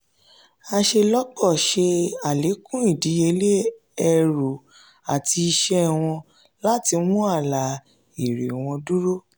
aṣelọpọ ṣe alekun idiyele ẹru ati iṣẹ wọn láti mú àlà èrè wọn dúró.